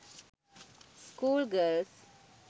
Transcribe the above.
school girls